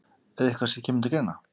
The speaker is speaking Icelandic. Er það eitthvað sem kemur til greina?